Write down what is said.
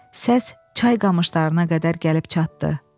Səs çay qamışlarına qədər gəlib çatdı.